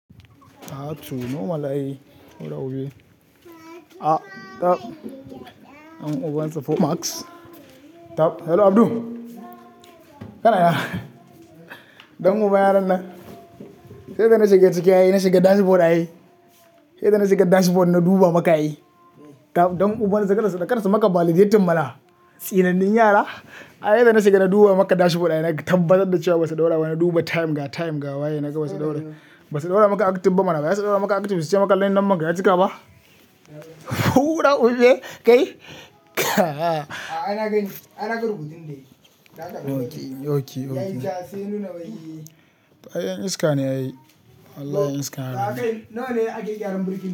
A to normal ayi A tab dan ubansa fo baks Tab hello Abdu, kana ina? Don uban yaran nan Yadda na shiga ciki ayi, na shiga dashboard ayi. Yadda na shiga dashboard na duɓa maka ayi. Tab dan ubasu kada su maka validating mana Tsine nin yara? Ai yadda na shiga na duba maka dashboard ayi, naga tambbatar da ciwa basa ɗaura ba. Na duba time ga time ga waye naga basa ɗaura. Basa ɗaura maka active ba mana. Ba sai su ɗaura maka active su ciya maka lay nambanka ya cika ba? Huɗa huɗe, kai? A a, a ay gani, ai nagani naga rubutunne Ok, ok, ok. Yayi ja sai nuna bayi. Ai yan iskane ay Allah yan iska yarane. Ya kai nawa ne ake gyaran burki?